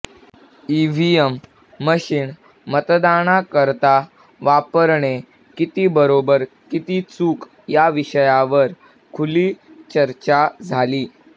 EVM machine मतदानाकरता वापरणे किती बरोबर किती चूक या विषयावर खुर्ली चर्चा झाली